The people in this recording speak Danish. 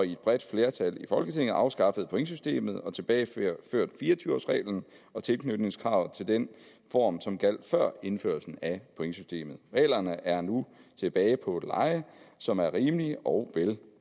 et bredt flertal i folketinget afskaffet pointsystemet og tilbageført fire og tyve årsreglen og tilknytningskravet til den form som gjaldt før indførelsen af pointsystemet reglerne er nu tilbage på et leje som er rimeligt og